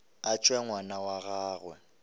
a tšwe ngwana wa gagwe